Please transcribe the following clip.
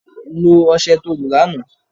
Lo ọsẹ to lo lánàá